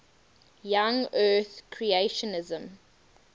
young earth creationism